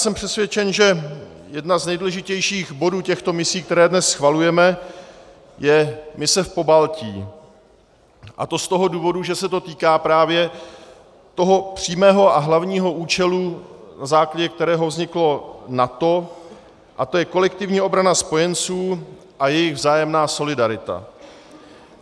Jsem přesvědčen, že jeden z nejdůležitějších bodů těchto misí, které dnes schvalujeme, je mise v Pobaltí, a to z toho důvodu, že se to týká právě toho přímého a hlavního účelu, na základě kterého vzniklo NATO, a to je kolektivní obrana spojenců a jejich vzájemná solidarita.